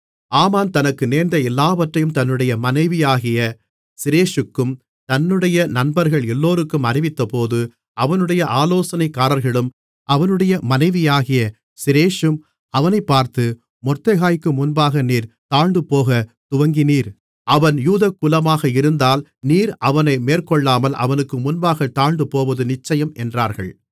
ஆமான் தனக்கு நேர்ந்த எல்லாவற்றையும் தன்னுடைய மனைவியாகிய சிரேஷூக்கும் தன்னுடைய நண்பர்கள் எல்லோருக்கும் அறிவித்தபோது அவனுடைய ஆலோசனைக்காரர்களும் அவனுடைய மனைவியாகிய சிரேஷூம் அவனைப் பார்த்து மொர்தெகாய்க்கு முன்பாக நீர் தாழ்ந்துபோகத் துவங்கினீர் அவன் யூத குலமாக இருந்தால் நீர் அவனை மேற்கொள்ளாமல் அவனுக்கு முன்பாகத் தாழ்ந்துபோவது நிச்சயம் என்றார்கள்